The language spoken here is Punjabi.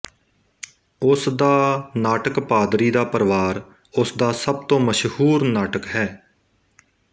ਉਸਦਾ ਨਾਟਕਪਾਦਰੀ ਦਾ ਪਰਿਵਾਰ ਉਸਦਾ ਸਭ ਤੋਂ ਮਸ਼ਹੂਰ ਨਾਟਕ ਹੈ